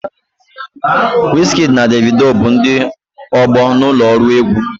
Wizkidi na Devido bụ ndị ọgbọ na ụlọ ọrụ egwu.